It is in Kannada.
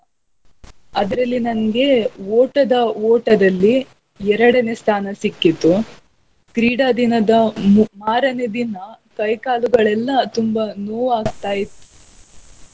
ಅದ್ರಲ್ಲಿ ನಂಗೆ ಓಟದ ಓಟದಲ್ಲಿ ಎರಡನೇ ಸ್ಥಾನ ಸಿಕ್ಕಿತು ಕ್ರೀಡಾ ದಿನದ ಮಾರನೇ ದಿನ ಕೈ ಕಾಲುಗಳೆಲ್ಲ ತುಂಬಾ ನೋವ್ ಆಗ್ತಾ ಇತ್ತು.